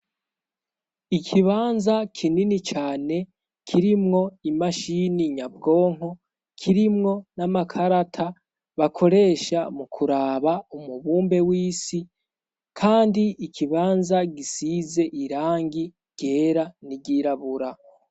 Ikibanza kinini cane kirimwo imashini nyabwonko, kirimwo n'amakarata bakoresha mu kuraba umubumbe w'isi, kandi ikibanza gisize irangi ryera n'iryirabura.